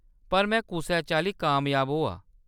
पर में कुसै चाल्ली कामयाब होआ।